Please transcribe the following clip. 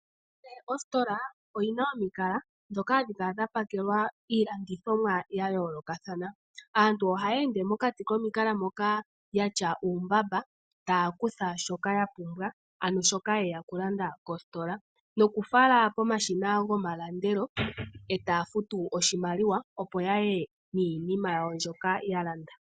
Kehe ositola oyina omikala dhoka ohadhi kala dhapakela iilandi thomwa ya yooloka thana aantu ohaya ende nduno oya tya uumbamba tafutu oshimwaliwa pomashina opo ya ye niima mbyoka yalanda.